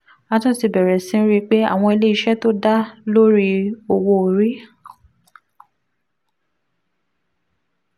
a tún ti bẹ̀rẹ̀ sí rí i pé àwọn ilé iṣẹ́ tó dá lórí owó orí